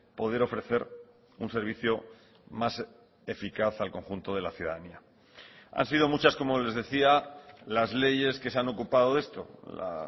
poder ofrecer un servicio más eficaz al conjunto de la ciudadanía han sido muchas como les decía las leyes que se han ocupado de esto la